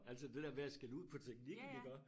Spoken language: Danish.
Altså det dér med at skælde ud på teknikken iggå